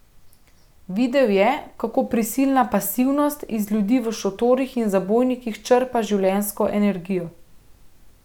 Videl je, kako prisilna pasivnost iz ljudi v šotorih in zabojnikih črpa življenjsko energijo.